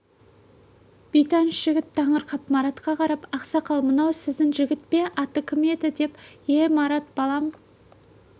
бейтаныс жігіт таңырқап маратқа қарап ақсақал мынау сіздің жігіт пе аты кім деді ие марат балам